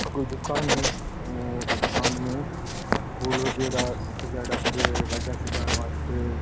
ये दुकान है और दुकान में फूल वगेरा सजायेडा पड़े है गाड़ियां सजायेन वास्ते।